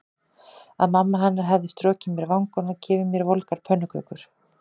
Að mamma hennar hefði strokið mér vangann og gefið mér volgar pönnukökur.